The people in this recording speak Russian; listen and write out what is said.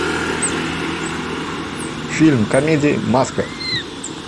фильм комедия маска